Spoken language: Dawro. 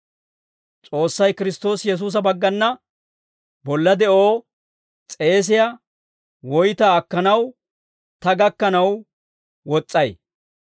S'oossay Kiristtoosi Yesuusa baggana bolla de'oo s'eesiyaa woytaa akkanaw, ta gakkanaw wos'ay.